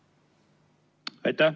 Aitäh!